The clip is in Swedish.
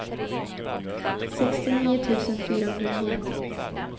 sextionio tusen fyrahundranio